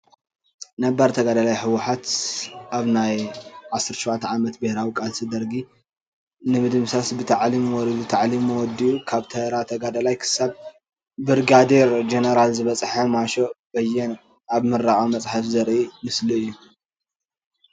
ነባር ተጋደላይ ህወሓት ኣብ ናይ 17ተ ዓመት ብረታዊ ቃልሲ ደርጊ ንምድምሳስ ናብ ታዕሊም ወሪዱ ታዕሊሙ ወዲ ኡ ካብ ተራ ተጋደላይ ክሳብ ብርጋዴር ጀነራል ዝበፅሐ ማሾ በየነ ኣብ ምረቃ መፅሓፍ ዘሪ ኢ ምስሊ እዩ::